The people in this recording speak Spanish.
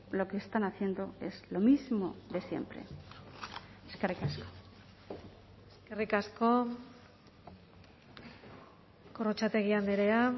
lo que están haciendo es lo mismo de siempre eskerrik asko eskerrik asko gorrotxategi andrea